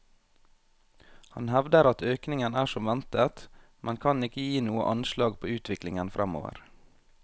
Han hevder at økningen er som ventet, men kan ikke gi noe anslag på utviklingen fremover.